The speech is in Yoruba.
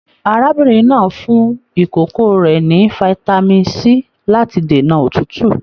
Arábìnrin náà fún ìkókó rẹ ní fitami C láti dènà òtútù.